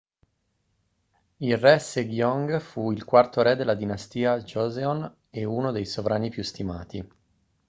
il re sejong fu il quarto re della dinastia joseon e uno dei sovrani più stimati